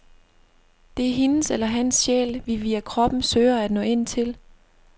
Det er hendes eller hans sjæl, vi via kroppen søger at nå ind til.